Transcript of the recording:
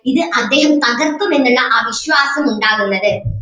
ഇത് അദ്ദേഹം പകർത്തും എന്നുള്ള ആ വിശ്വാസം ഉണ്ടാകുന്നത്